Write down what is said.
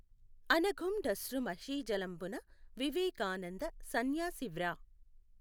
అనఘుం డశ్రు మషీజలంబున వివేకానంద సన్యాసి వ్రా